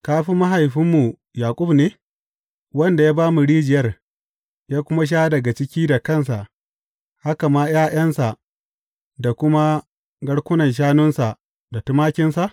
Ka fi mahaifinmu Yaƙub ne, wanda ya ba mu rijiyar ya kuma sha daga ciki da kansa, haka ma ’ya’yansa da kuma garkunan shanunsa da tumakinsa?